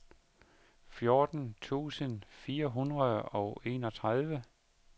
fjorten tusind fire hundrede og enogtredive